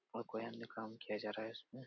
बहुत काम किया जा रहा है इसमे ।